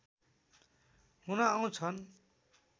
हुन आउँछन्